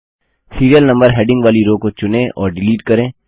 serial number heading वाली row को चुनें और डिलीट करें